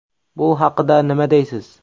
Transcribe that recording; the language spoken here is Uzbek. Bu haqida nima deysiz?